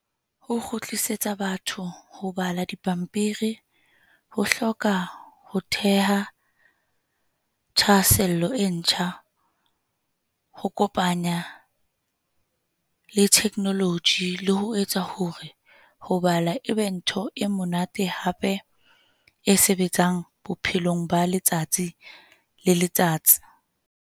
Ho kgutlisetsa batho ho bala dipampiri ho hloka ho theha thahasello e ntjha, ho kopanya le theknoloji, le ho etsa hore ho bala e be ntho e monate. Hape e sebetsang bophelong ba letsatsi le letsatsi.